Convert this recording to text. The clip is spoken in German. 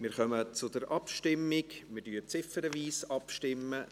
Wir kommen zur Abstimmung, wir stimmen ziffernweise ab.